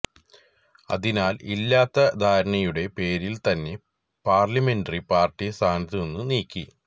അതിനാല് ഇല്ലാത്ത ധാരണയുടെ പേരില് തന്നെ പാര്ലിമെന്ററി പാര്ട്ടി സ്ഥാനത്തുനിന്ന് നീക്കി